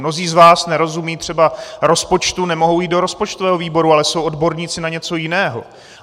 Mnozí z vás nerozumějí třeba rozpočtu, nemohou jít do rozpočtového výboru, ale jsou odborníci na něco jiného.